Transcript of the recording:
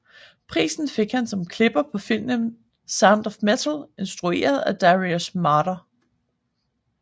Prisen fik han som klipper på filmen Sound of Metal instrueret af Darius Marder